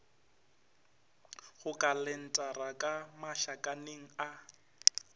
go kalentara ka mašakaneng a